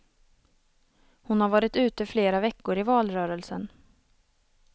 Hon har varit ute flera veckor i valrörelsen.